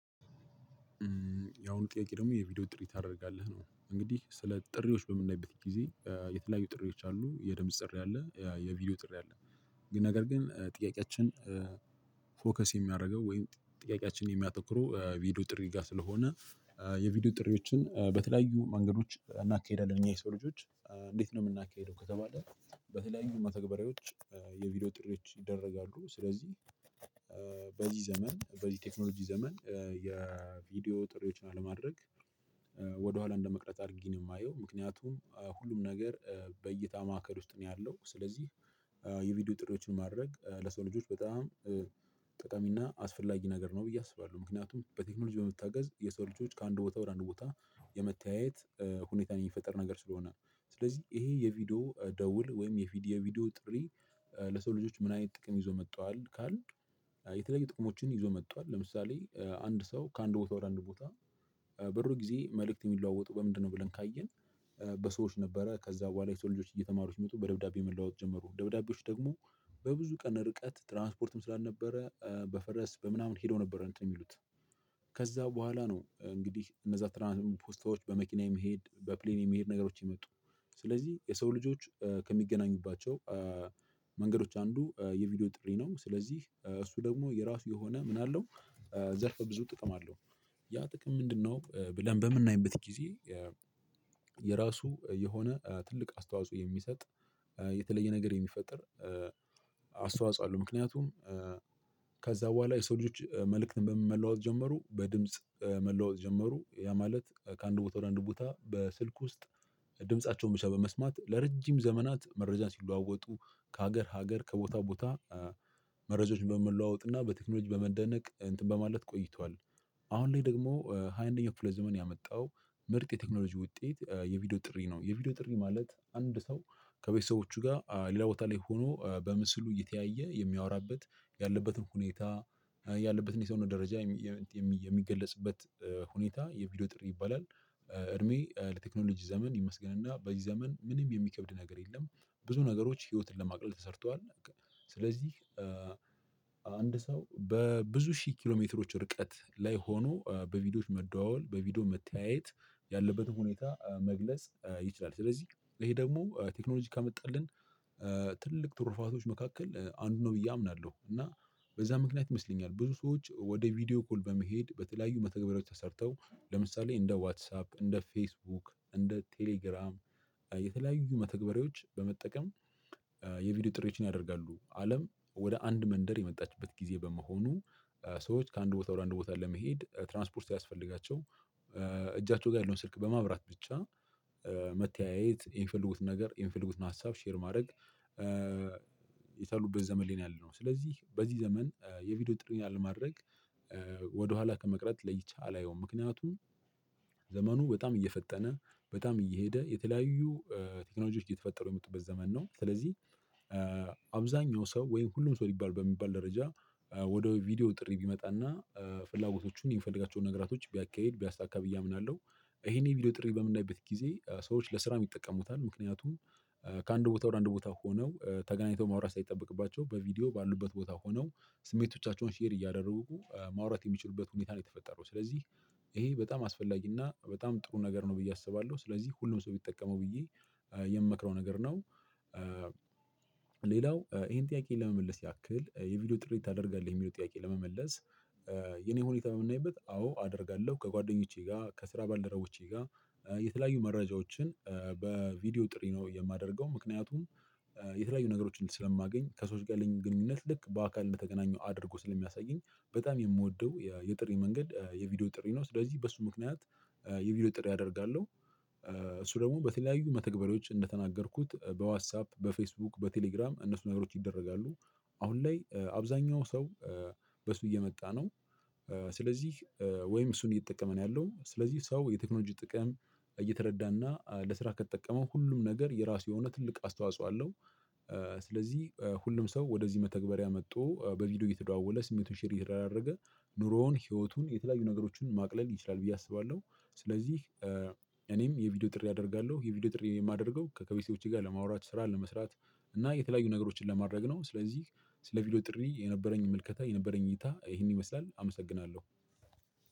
ያው ጥያቄ ደግሞ የቪዲዮ ጥሪ ታደርጋለህ ነው እንግዲህ ስለ ጥሪዎች በምናይበት ጊዜ የተለያዩ ጥሪዎች አሉ የድምጽ ጥሪ አለ የቪዲዮ ጥሪ አለ። ግን ነገር ግን ጥያቄያችን ፎከስ የሚያደርገው ወይም ጥያቄያችንን የሚያተኩሩ ቪዲዮ ጥሪ ጋር ስለሆነ የቪዲዮ ጥሪዎችን በተለያዩ መንገዶች እናካሂዳለን። እኛ የሰው ልጆች እንዴት ነው የምናካሂደው ከተባለ በተለያዩ መተግበሪያዎች የቪዲዮ ጥሪዎች ይደረጋሉ። ስለዚህ በዚህ ዘመን በዚህ ቴክኖሎጂ ዘመን የቪዲዮ ጥሪዎችን አለማድረግ እንደመቅረት አድርጌ ማየው ምክንያቱም ሁሉም ነገር በእይታ ማዕከል ውስጥ ነው። ያለው ስለዚህ የቪዲዮ ጥሪዎችን ማድረግ ለሰው ልጆች በጣም ጠቃሚና አስፈላጊ ነገር ነው ብዬ አስባለሁ። ምክንያቱም በቴክኖሎጂ በመታገዝ የሰው ልጆች ከአንድ ቦታ ወደ አንድ ቦታ ለመተያየት ሁኔታን የሚፈጥር ነገር ስለሆነ ነው። ስለዚህ ይሄ የቪዲዮ ደውል ወይም የቪዲዮ ቪዲዮ ጥሪ ለሰው ልጆች ምን አይነት ጥቅም ይዞ መጥቷል ካልን? የተለየ ጥቅሞችን ይዞ መጥቷል። ለምሳሌ አንድ ሰው ከአንድ ቦታ ወደ አንድ ቦታ በድሮ ጊዜ መልእክት የሚለዋወጡ በምንድነው ብለን ካየን በሰዎች ነበረ ከዛ በኋላ የሰው ልጆች እየተማሩ ሲመጡ በደብዳቤ መለዋወጥ ጀመሩ ደብዳቤዎች ደግሞ። በብዙ ቀን ርቀት ትራንስፖርትም ስላልነበረ በፈረስ በምናምን ሄዶ ነበር እንትን ሚሉት። ከዛ በኋላ ነው እንግዲህ እነዛ ትራንስፖርት ፖስታዎች በመኪናዬ መሄድ በፕሌን የመሄድ ነገሮች የመጡት። ስለዚህ የሰው ልጆች ከሚገናኙባቸው መንገዶች አንዱ የቪዲዮ ጥሪ ነው። ስለዚህ እሱ ደግሞ የራሱ የሆነ ምን አለው ዘርፈ ብዙ ጥቅም አለው። ያ ጥቅም ምንድነው ብለን በምናይበት ጊዜ? የራሱ የሆነ ትልቅ አስተዋጽኦ የሚሰጥ የተለየ ነገር የሚፈጠር አስተዋጽኦ አለው። ምክንያቱም ከዛ በኋላ የሰው ልጆች መልእክትን በምን መለዋወጥ ጀመሩ በድምጽ መለዋወጥ ጀመሩ ያ ማለት ከአንድ ቦታ ወደ አንድ ቦታ በስልክ ውስጥ። ድምፃቸውን ብቻ በመስማት ለረጅም ዘመናት መረጃ ሲለዋወጡ ከሀገር ሀገር ከቦታ ቦታ መረጃዎችን በመለዋወጥና በቴክኖሎጂ በመደነቅ እንትን በማለት ቆይቷል። አሁን ላይ ደግሞ ሃያ አንደኛው ክፍለ ዘመን ያመጣው ምርጥ የቴክኖሎጂ ውጤት የቪዲዮ ጥሪ ነው። የቪዲዮ ጥሪ ማለት አንድ ሰው ከቤተሰቦቹ ጋር ሌላ ቦታ ላይ ሆኖ በምስሉ እየተያየ የሚያወራበት ያለበትን ሁኔታ ያለበትን የሰውነት ደረጃ የሚገለጽበት ሁኔታ የቪዲዮ ጥሪ ይባላል። እድሜ ለቴክኖሎጂ ዘመን ይመስገንና በዚህ ዘመን ምንም የሚከብድ ነገር የለም። ብዙ ነገሮች ህይወትን ለማቅለል ተሰርቷል። ስለዚህ አንድ ሰው በብዙ ሺህ ኪሎ ሜትሮች ርቀት ላይ ሆኖ በቪዲዮዎች መደዋወል በቪዲዮ መተያየት ያለበትን ሁኔታ መግለጽ ይችላል። ስለዚህ ይሄ ደግሞ ቴክኖሎጂ ካመጣልን ትልቅ ትሩፋቶች መካከል አንዱ ነው ብዬ አምናለሁ። እና በዛ ምክንያት ይመስለኛል ብዙ ሰዎች ወደ ቪዲዮ ኮል በመሄድ በተለያዩ መተግበያዎች ተሰርተው ለምሳሌ እንደ ዋትሳፕ እንደ ፌስቡክ እንደ ቴሌግራም የተለያዩ መተግበሪያዎች በመጠቀም የቪዲዮ ጥሪዎችን ያደርጋሉ። አለም ወደ አንድ መንደር የመጣችበት ጊዜ በመሆኑ ሰዎች ከአንድ ቦታ ወደ አንድ ቦታ ለመሄድ ትራንስፖርት ሳያስፈልጋቸው እጃቸው ጋር ያለውን ስልክ በማብራት ብቻ መተያየት የሚፈልጉትን ነገር የሚፈልጉትን ሀሳብ ሼር ማድረግ። የቻሉበት ዘመን ላይ ነው ያለነው። ስለዚህ በዚህ ዘመን የቪዲዮ ጥሪን አለማድረግ ወደኋላ ከመቅረት ለይቼ አላየውም። ምክንያቱም ዘመኑ በጣም እየፈጠነ በጣም እየሄደ የተለያዩ ቴክኖሎጂዎች እየተፈጠሩ የመጡበት ዘመን ነው። ስለዚህ አብዛኛው ሰው ወይም ሁሉም ሰው ሊባል በሚባል ደረጃ ወደ ቪዲዮ ጥሪ ቢመጣና ፍላጎቶቹን የሚፈልጋቸውን ነገራቶች ቢያካሂድ ቢያሳካ ብዬ አምናለሁ። ይሄን ቪዲዮ ጥሪ በምናይበት ጊዜ ሰዎች ለስራ ይጠቀሙታል ምክንያቱም ከአንድ ቦታ ወር አንድ ቦታ ሆነው ተገናኝተው ማውራት ሳይጠበቅባቸው በቪዲዮ ባሉበት ቦታ ሆነው ስሜቶቻቸውን ሼር እያደረጉ ማውራት የሚችሉበት ሁኔታ ነው የተፈጠረው። ስለዚህ ይሄ በጣም አስፈላጊ እና በጣም ጥሩ ነገር ነው ብዬ አስባለሁ። ስለዚህ ሁሉም ሰው ቢጠቀመው ብዬ የምመክረው ነገር ነው። ሌላው ይሄን ጥያቄ ለመመለስ ያክል የቪዲዮ ጥሪ ታደርጋለህ የሚለው ጥያቄ ለመመለስ። የኔ ሁኔታ በምናይበት አዎ አደርጋለሁ ከጓደኞቼ ጋር ከስራ ባልደረቦቼ ጋር የተለያዩ መረጃዎችን በቪዲዮ ጥሪ ነው የማደርገው። ምክንያቱም የተለያዩ ነገሮችን ስለማገኝ ከሰዎች ጋር ያለኝም ግንኙነት ልክ በአካል እንደተገናኘው አድርጎ ስለሚያሳየኝ በጣም የምወደው የጥሪ መንገድ የቪዲዮ ጥሪ ነው። ስለዚህ በሱ ምክንያት የቪዲዮ ጥሪ አደርጋለሁ። እሱ ደግሞ በተለያዩ መተግበሪዎች እንደተናገርኩት በዋትሳፕ፣ በፌስቡክ በቴሌግራም እነሱ ነገሮች ይደረጋሉ። አሁን ላይ አብዛኛው ሰው በሱ እየመጣ ነው። ስለዚህ ወይም እሱን እየተጠቀመ ነው ያለው ስለዚህ ሰው የቴክኖሎጂ ጥቅም እየተረዳና ለስራ ከተጠቀመው ሁሉም ነገር የራሱ የሆነ ትልቅ አስተዋጽኦ አለው። ስለዚህ ሁሉም ሰው ወደዚህ መተግበሪያ መጥቶ በቪዲዮ እየተደዋወለ ስሜቱን ሼር እየተደራረገ ኑሮውን ህይወቱን የተለያዩ ነገሮችን ማቅለል ይችላል ብዬ አስባለሁ። ስለዚህ እኔም የቪዲዮ ጥሪ አደርጋለሁ የቪዲዮ ጥሪ የማደርገው ከከቤቴዎቼ ጋር ለማውራት ስራ ለመስራት እና የተለያዩ ነገሮችን ለማድረግ ነው። ስለዚህ ስለ ቪዲዮ ጥሪ የነበረኝ ምልከታ የነበረኝ እይታ ይሄን ይመስላል አመሰግናለሁ።